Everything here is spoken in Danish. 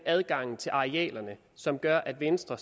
adgangen til arealerne som gør at venstre